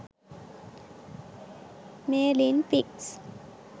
merlin pics